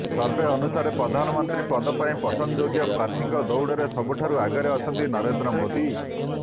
survey ଅନୁସାରେ ପ୍ରଧାନମନ୍ତ୍ରୀ ପଦ ପାଇଁ ପସନ୍ଦଯୋଗ୍ୟ ପ୍ରାର୍ଥୀଙ୍କ ଦୌଡ଼ରେ ସବୁଠାରୁ ଆଗରେ ଅଛନ୍ତି ନରେନ୍ଦ୍ର ମୋଦି